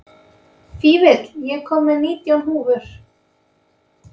Fífill, ég kom með nítján húfur!